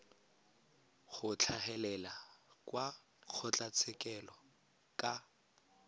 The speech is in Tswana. go tlhagelela kwa kgotlatshekelo ka